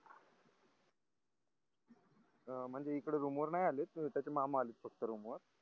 म्हणजे इकड रूम वर नाही आले त्याचे मामा आले फक्त रूम वर